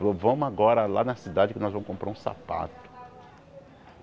Falou, vamos agora lá na cidade que nós vamos comprar um sapato.